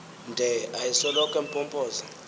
nde ayesoloko empompoza